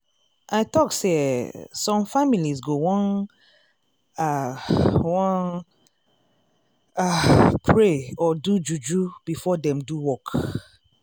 i talk say eeh some families go wan ah wan ah pray or do juju before dem do work.